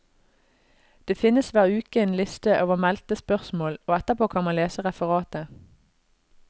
Det finnes hver uke en liste over meldte spørsmål og etterpå kan man lese referatet.